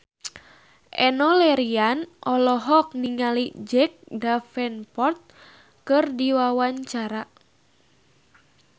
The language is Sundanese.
Enno Lerian olohok ningali Jack Davenport keur diwawancara